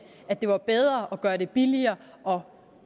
at det var bedre at gøre det billigere og